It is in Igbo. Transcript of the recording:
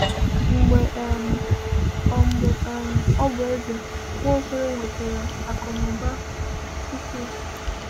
Mgbe um ọ Mgbe um ọ bụ eze, Nwaokolo nwetara akụ na ụba ukwu.